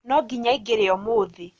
No nginya aingĩre ũmũthĩ